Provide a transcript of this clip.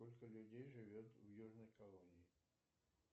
сколько людей живет в южной колонии